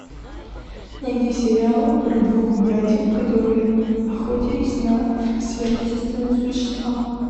найди сериал про двух братьев которые охотились на сверхъестественные существа